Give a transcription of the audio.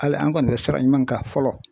Hali an kɔni bɛ fara ɲɔgɔn kan fɔlɔ